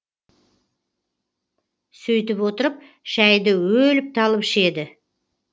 сөйтіп отырып шәйді өліп талып ішеді